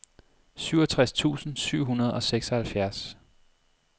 syvogtres tusind syv hundrede og seksoghalvfjerds